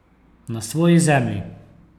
Na svoji zemlji.